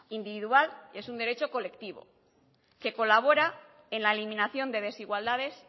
individual y es un derecho colectivo que colabora en la eliminación de desigualdades